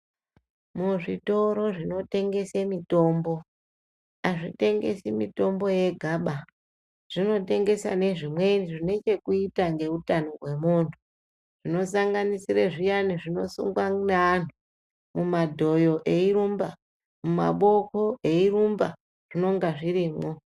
Muzvitoro zvinotengese mithombo azvitengesi mithombo yegaba zvinotengesa nezvimweni zvine chekuita ngeuthano hwemunthu zvinosanganisire zviyani zvinosungwa neanhu mumadhoyo eyirumba, mumaboko eyirumba zvinonga zvirimwo.